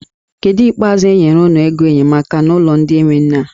Kedụ ikpeazụ enyere unu ego enyemaka n'ụlọ ndị enwe nne a?